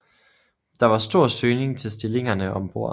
Der var stor søgning til stillingerne om bord